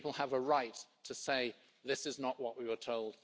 People have a right to say this is not what we were told